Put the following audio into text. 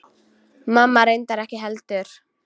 Mamma reyndar ekki heldur.